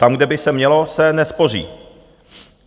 Tam, kde by se mělo, se nespoří.